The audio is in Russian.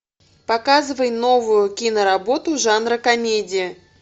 показывай новую киноработу жанра комедия